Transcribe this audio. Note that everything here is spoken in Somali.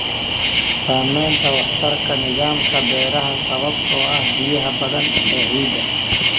Saamaynta waxtarka nidaamka beeraha sababtoo ah biyaha badan ee ciidda.